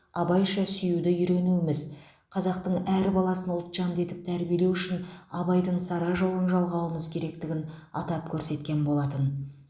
абайша сүюді үйренуіміз қазақтың әр баласын ұлтжанды етіп тәрбиелеу үшін абайдың сара жолын жалғауымыз керектігін атап көрсеткен болатын